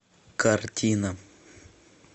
картина